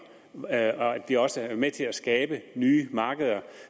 at vi også er med til at skabe nye markeder